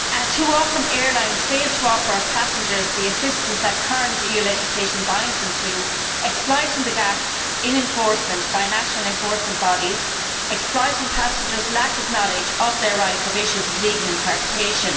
Too often airlines fail to offer passengers the assistance that current EU legislation binds them to, exploiting the gaps in enforcement by national enforcement bodies and exploiting passengers' lack of knowledge of their rights over issues of legal interpretation.